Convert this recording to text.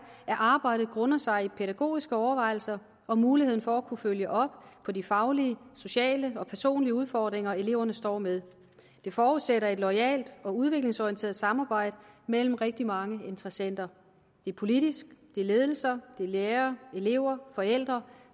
at arbejdet grunder sig i pædagogiske overvejelser og muligheden for at kunne følge op på de faglige sociale og personlige udfordringer eleverne står med det forudsætter et loyalt og udviklingsorienteret samarbejde mellem rigtig mange interessenter det er politisk det er ledelser det er lærere elever forældre